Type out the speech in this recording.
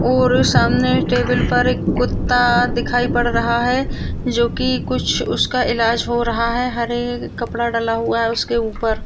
और सामने टेबल पर एक कुत्ता दिखाई पड़ रहा है जो की कुछ उसका इलाज हो रहा है हरे कपड़ा डला हुआ है उसके ऊपर।